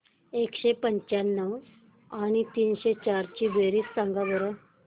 एकशे पंच्याण्णव आणि तीनशे चार ची बेरीज सांगा बरं